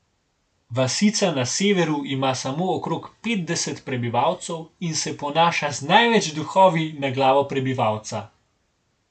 Vasica na severu ima samo okrog petdeset prebivalcev in se ponaša z največ duhovi na glavo prebivalca.